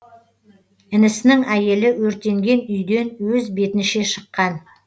інісінің әйелі өртенген үйден өз бетінші шыққан